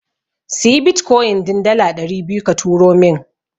Siyi Bitkoyin din dala ɗari biyu ka turo min.